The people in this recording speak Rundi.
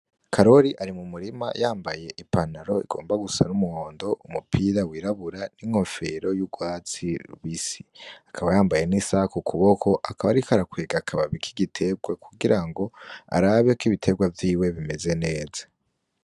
Karori ari mumurima yambaye ipantaro igomba gusa n'umuhondo , umupira wirabura ,n'inkofero y'urwatsi rubisi, akaba yambaye n'isaha kukuboko akaba ariko arakwega akababi k'igiterwa kugira ngo arabe k'ibiterwa vyiwe bimeze neza.